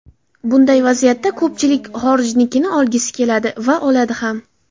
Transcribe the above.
Bunday vaziyatda ko‘pchilik xorijnikini olgisi keladi va oladi ham.